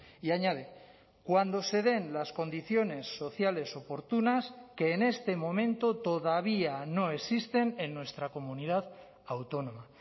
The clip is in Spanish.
y añade cuando se den las condiciones sociales oportunas que en este momento todavía no existen en nuestra comunidad autónoma